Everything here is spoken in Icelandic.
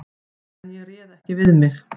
En ég réð ekki við mig.